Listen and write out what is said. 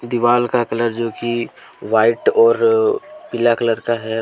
दीवाल का कलर जो कि व्हाइट और पीला कलर का है।